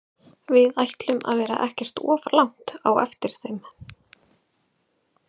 Við ætlum að vera ekkert of langt á eftir þeim.